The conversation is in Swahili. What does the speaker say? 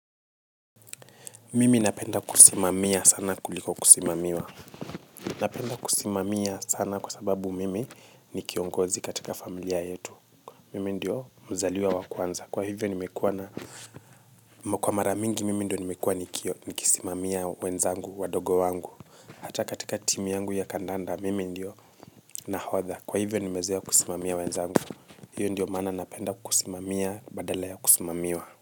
Mimi napenda kusimamia sana kuliko kusimamiwa. Napenda kusimamia sana kwa sababu mimi ni kiongozi katika familia yetu. Mimi ndio mzaliwa wa kwanza kwa hivyo nimekuwa na kwa mara mingi mimi ndio nimekuwa nikio nikisimamia wenzangu wadogo wangu hata katika timu yangu ya kandanda mimi ndio nahodha kwa hivyo nimezoea kusimamia wenzangu. Hiyo ndio maana napenda kusimamia badala ya kusimamiwa.